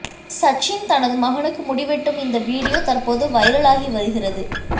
சச்சின் தனது மகனுக்கு முடி வெட்டும் இந்த வீடியோ தற்போது வைரல் ஆகி வருகிறது